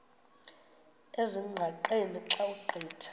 ezingqaqeni xa ugqitha